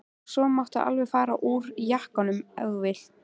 Og svo máttu alveg fara úr jakkanum ef þú vilt.